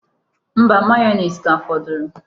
Mba, mayoneesi ka fọdụrụ.